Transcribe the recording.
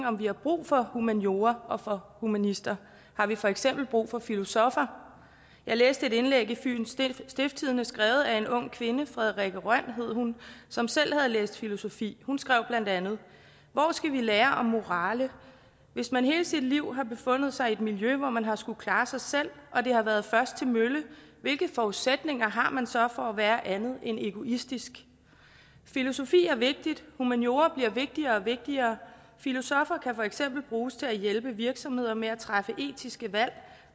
om vi har brug for humaniora og for humanister har vi for eksempel brug for filosoffer jeg læste et indlæg i fyens stiftstidende skrevet af en ung kvinde frederikke røn hedder hun som selv har læst filosofi hun skrev bla hvor skal vi lære om morale hvis man hele sit liv har befundet sig i et miljø hvor man har skullet klare sig selv og det har været først til mølle hvilke forudsætninger har man så for at være andet end egoistisk filosofi er vigtigt humaniora bliver vigtigere og vigtigere filosoffer kan for eksempel bruges til at hjælpe virksomheder med at træffe etiske valg